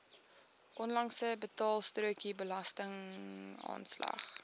onlangse betaalstrokie belastingaanslag